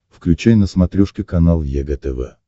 включай на смотрешке канал егэ тв